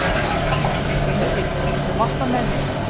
Beinteinn, viltu hoppa með mér?